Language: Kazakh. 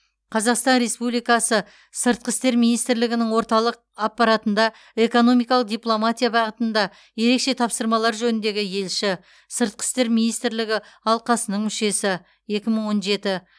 қазақстан республикасы сыртқы істер министрлігінің орталық аппаратында экономикалық дипломатия бағытында ерекше тапсырмалар жөніндегі елші сыртқы істер министрлігі алқасының мүшесі екі мың он жеті